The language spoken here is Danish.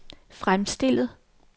fremstillet